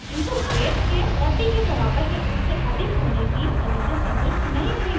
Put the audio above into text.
किन्तु weight के 40 के बराबर या उससे अधिक होने की condition संतुष्ट नहीं हुई है